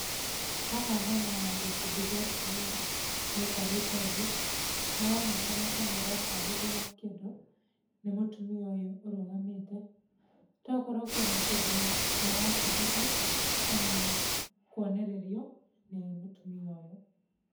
Haha hena gĩkundi kĩa atumia maikarĩte thĩ, maraonekana ta maratarĩrio kĩndu nĩ mũtumia ũyũ ũrũgamĩte. Tokorwo kwĩna Kĩndu marabundithio kana kwonererio nĩ mũtumia ũyũ.